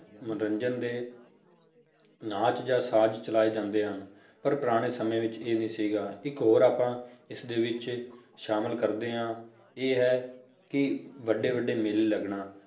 ਮਨੋਰੰਜਨ ਦੇ ਨਾਚ ਜਾਂ ਸਾਜ ਚਲਾਏ ਜਾਂਦੇ ਹਨ, ਪਰ ਪੁਰਾਣੇ ਸਮੇਂ ਵਿੱਚ ਇਹ ਨੀ ਸੀਗਾ, ਇੱਕ ਹੋਰ ਆਪਾ ਇਸਦੇ ਵਿੱਚ ਸ਼ਾਮਲ ਕਰਦੇ ਹਾਂ ਇਹ ਹੈ ਕਿ ਵੱਡੇ ਵੱਡੇ ਮੇਲੇ ਲੱਗਣਾ